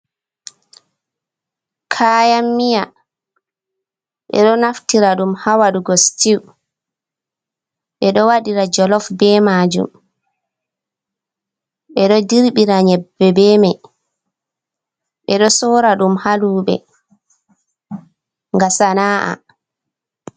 kayan miya ɓe ɗo naftira ɗum haa wadurgo sitew, ɓe ɗo waɗira jolaf be maajum, ɓeɗo dirbira nyebbe be mai ɓeɗo sora ɗum haa luube ga sana’a.